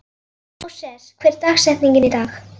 Móses, hver er dagsetningin í dag?